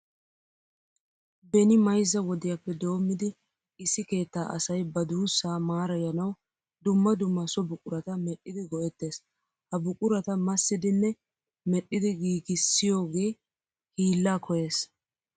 Beni mayzza wodiyappe doommidi issi keettaa asay ba duussaa maarayanawu dumma dumma so buqurata medhdhidi go"ettees. Ha buqurata massidinne medhdhidi giigissiyogee hiillaa koyyees.